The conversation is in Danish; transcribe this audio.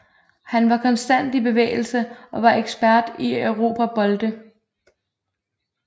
Han var konstant i bevægelse og var ekspert i at erobre bolde